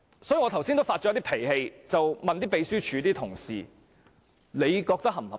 所以我剛才有點動氣地問秘書處的同事，他們認為這樣是否合理呢？